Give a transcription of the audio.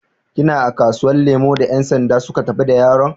Kina a kasuwan lemu da yansanda su tafi da yaron?